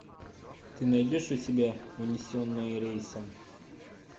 ты найдешь у себя унесенные рейсом